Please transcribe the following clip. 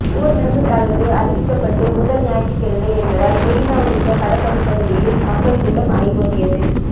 ஊரடங்கு தளர்வு அறிவிக்கப்பட்டு முதல் ஞாயிற்றுக்கிழமை என்பதால் மெரினா உள்ளிட்ட கடற்கரை பகுதிகளில் மக்கள் கூட்டம் அலைமோதியது